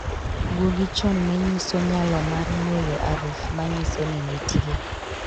Gwogi chon nenyiso nyalo mar ng'weyo aruf ma nyiso ni nitie